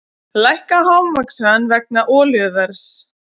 Lækka hámarkshraða vegna olíuverðs